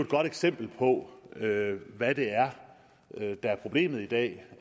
godt eksempel på hvad det er der er problemet i dag